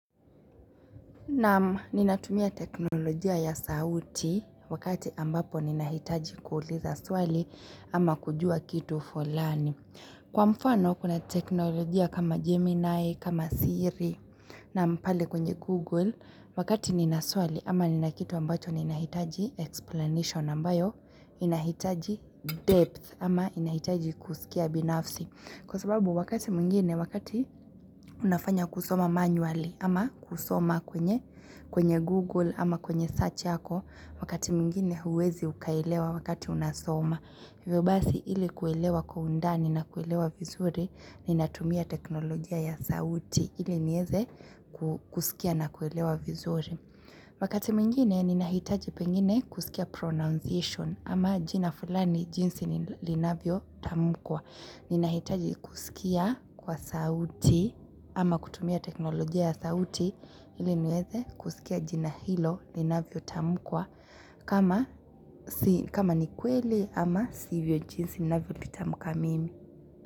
Naam ninatumia teknolojia ya sauti wakati ambapo ninahitaji kuuliza swali ama kujua kitu fulani. Naam, ninatumia teknolojia ya sauti wakati ambapo ninahitaji kuuliza swali ama kujua kitu fulani. Na ninatumia teknolojia ya sauti wakati ambapo ninahitaji kuuliza swali ama kujua kitu for learn. Ivyo basi ili kuelewa kwa undani na kuelewa vizuri ninatumia teknolojia ya sauti ili nieze kusikia na kuelewa vizuri. Wakati mwengine ninahitaji pengine kusikia pronunciation ama jina fulani jinsi linavyo tamukwa. Ninahitaji kusikia kwa sauti ama kutumia teknolojia ya sauti ili nieze kusikia jina hilo linavyo tamukwa kama ni kweli ama sivyo jinsi ninavyo litamuka mimi.